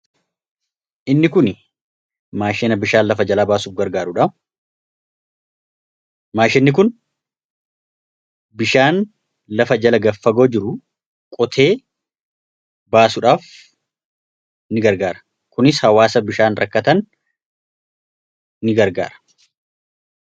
inni kunblafaj baasufgmaashini kun bishaan lafa jala gaffagoo jiru qotee baasuudhaaf ini gargaara kunis hawaasa bishaan rakkatan ni gargaara